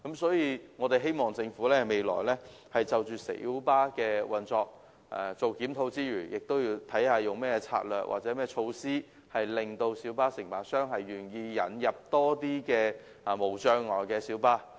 所以，我們希望政府未來檢討小巴的運作時，能考慮利用何種策略或措施，令小巴承辦商願意引入較多設有無障礙設施的小巴。